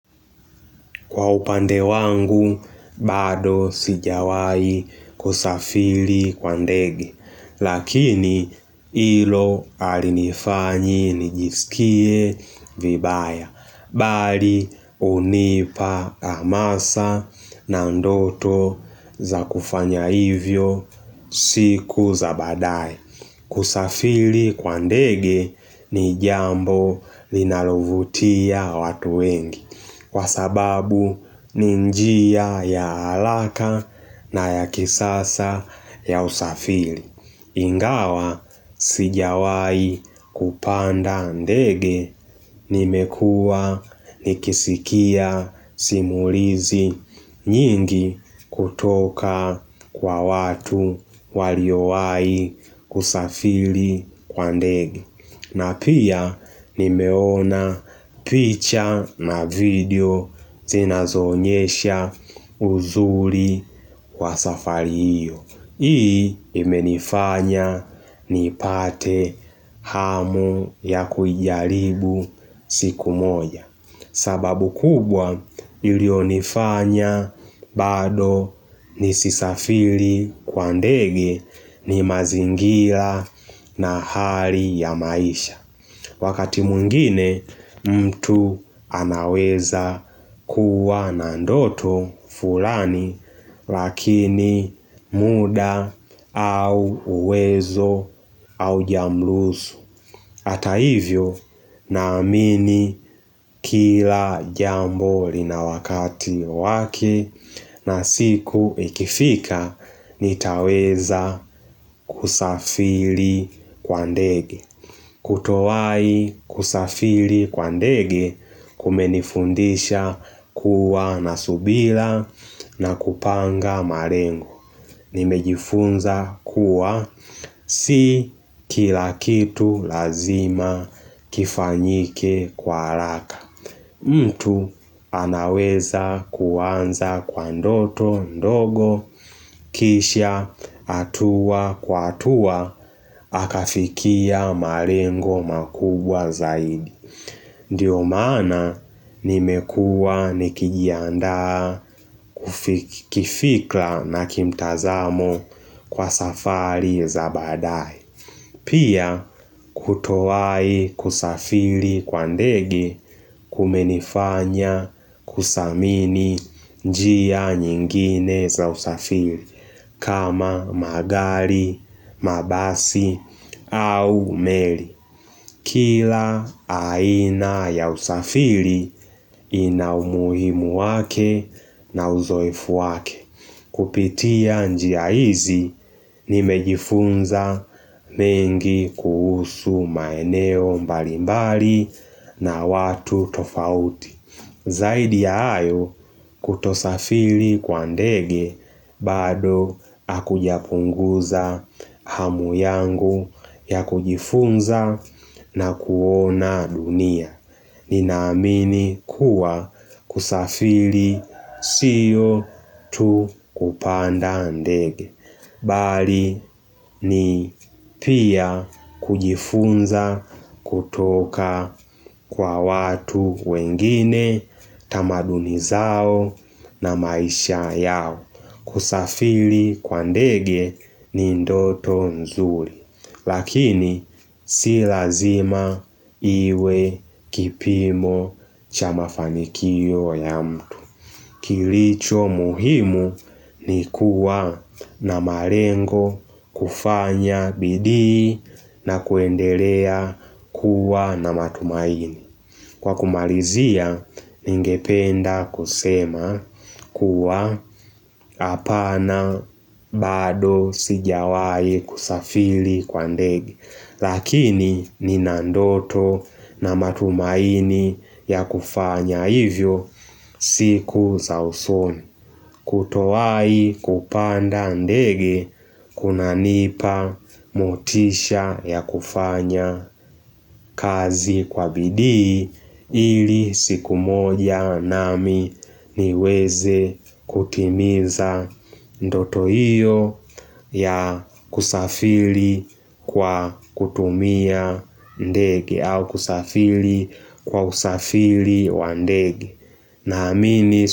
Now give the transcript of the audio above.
Kwa upande wangu, bado sijawahi kusafiri kwa ndege, lakini ilo alinifanyi nijisikie vibaya, bali hunipa amasa na ndoto za kufanya hivyo siku za badae. Kusafiri kwa ndege ni jambo linalovutia watu wengi kwa sababu ni njia ya haraka na ya kisasa ya usafiri. Ingawa sijawahi kupanda ndege nimekuwa nikisikia simulizi nyingi kutoka kwa watu waliowahi kusafiri kwa ndege. Na pia nimeona picture na video zinazoonyesha uzuri wa safari hiyo. Hii imenifanya nipate hamu ya kuijaribu siku moja sababu kubwa iliyonifanya bado nisisafiri kwa ndege ni mazingira na hali ya maisha Wakati mwngine mtu anaweza kuwa na ndoto fulani lakini muda au uwezo haujamruhusu Hata hivyo na amini kila jambo lina wakati wake na siku ikifika nitaweza kusafiri kwa ndege Kutowahi kusafiri kwa ndege kumenifundisha kuwa na subira na kupanga malengo Nimejifunza kuwa si kila kitu lazima kifanyike kwa haraka. Mtu anaweza kuanza kwa ndoto ndogo kisha hatua kwa hatua akafikia malengo makubwa zaidi. Ndiyo maana nimekuwa nikijiandaa kifikra na kimtazamo kwa safari za baadaye Pia kutowahi kusafiri kwa ndege kumenifanya kusamini njia nyingine za usafiri kama magari, mabasi au meli Kila aina ya usafiri ina umuhimu wake na uzoefu wake. Kupitia njia hizi nimejifunza mengi kuhusu maeneo mbali mbali na watu tofauti. Zaidi ya hayo kutosafiri kwa ndege bado akujapunguza hamu yangu ya kujifunza na kuona dunia. Ninaamini kuwa kusafiri sio tu kupanda ndege. Bali ni pia kujifunza kutoka kwa watu wengine tamaduni zao na maisha yao kusafiri kwa ndege ni ndoto nzuri lakini si lazima iwe kipimo cha mafanikiyo ya mtu Kilicho muhimu ni kuwa na malengo kufanya bidii na kuendelea kuwa na matumaini. Kwa kumalizia, ningependa kusema kuwa apana bado sijawahi kusafiri kwa ndege. Lakini Nina ndoto na matumaini ya kufanya hivyo siku za usoni. Kutowahi kupanda ndege kunanipa motisha ya kufanya kazi kwa bidii ili siku moja nami niweze kutimiza ndoto hiyo ya kusafiri kwa kutumia ndege au kusafiri kwa usafiri wa ndege. Naamini.